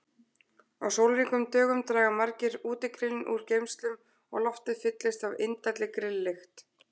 Á sólríkum dögum draga margir útigrillin úr geymslum og loftið fyllist af indælli grilllykt.